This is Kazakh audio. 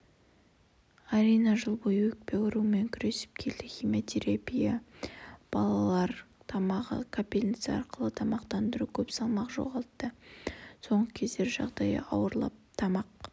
арина жыл бойы өкпе ауруымен күресіп келді химиотерапия балалр тамағы капельница арқылы тамақтандыру көп салмақ жоғалтты соңғы кездері жағдайы ауырлап тамақ